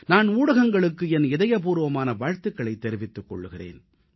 நான் ஊடகங்களுக்கு என் இதயபூர்வமான வாழ்த்துக்களைத் தெரிவித்துக் கொள்கிறேன்